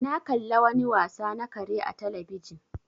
Na ƙalla wani wasa na kare a telebijin